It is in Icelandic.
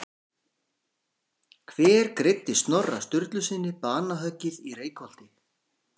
Hver greiddi Snorra Sturlusyni banahöggið í Reykholti?